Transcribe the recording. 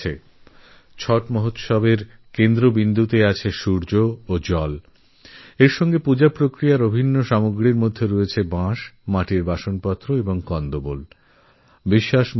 একদিকে সূর্য আর জল মহাপরবছটের উপাসনার কেন্দ্রে অন্যদিকে বাঁশ আর মাটি দিয়ে তৈরি বাসনপত্র আর মূল এর পূজাবিধিরসঙ্গে জড়িত অভিন্ন সামগ্রী